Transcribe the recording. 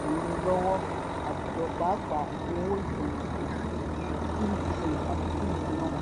ìrànlọ́wọ́ àwùjọ pàápàá owó ìfẹ̀yìntì eighty three percent àfikún ìsúná.